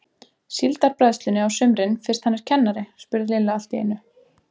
Síldarbræðslunni á sumrin fyrst hann er kennari? spurði Lilla allt í einu.